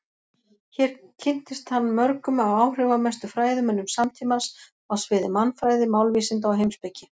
Hér kynntist hann mörgum af áhrifamestu fræðimönnum samtímans á sviði mannfræði, málvísinda og heimspeki.